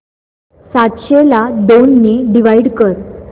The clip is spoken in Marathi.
सातशे ला दोन ने डिवाइड कर